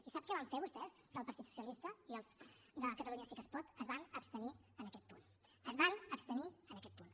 i sap què van fer vostès del partit socialista i els de catalunya sí que es pot es van abstenir en aquest punt es van abstenir en aquest punt